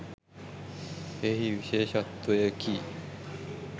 එහි විශේෂත්වයකි.